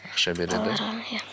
ақша береді иә